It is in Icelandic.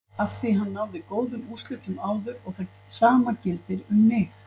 Afþví hann náði góðum úrslitum áður og það sama gildir um mig.